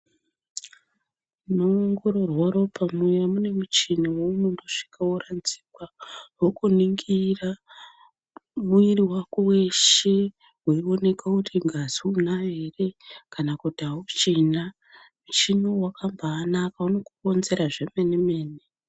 Munoongororwa ropa muya mune muchini unosvika woradzikwa vokuningira mwiri wako weshe weioneka kuti ngazi unayo ere kana kuti auchina. Muchini uyu wakambanaka unobakuronzera zvemenemene.